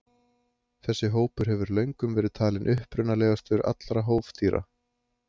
þessi hópur hefur löngum verið talinn upprunalegastur allra hófdýra